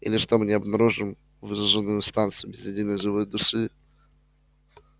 или что мы не обнаружим выжженную станцию без единой живой души